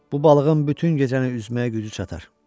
Bu balığın bütün gecəni üzməyə gücü çatar.